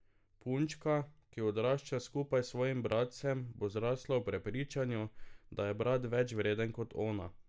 Punčka, ki odrašča skupaj s svojim bratcem, bo zrasla v prepričanju, da je brat več vreden kot ona.